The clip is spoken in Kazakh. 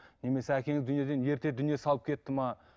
немесе әкеңіз дүниеден ерте дүние салып кетті ме